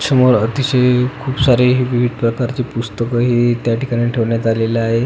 समोर अतिशय खुप सारे विविध प्रकारचे पुस्तकंही त्या ठिकाणी ठेवण्यात आलेल आहे.